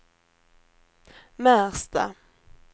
Märsta